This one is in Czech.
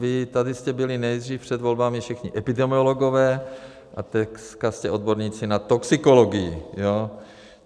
Vy tady jste byli nejdřív před volbami všichni epidemiologové a teďka jste odborníci na toxikologii.